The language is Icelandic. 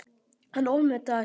Hann ofmetnaðist.